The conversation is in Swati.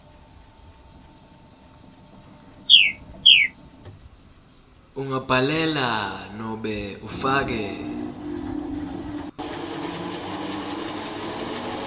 ungabhalela nobe ufake